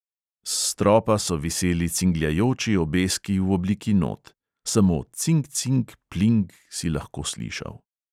S stropa so viseli cingljajoči obeski v obliki not; samo cing cing pling si lahko slišal.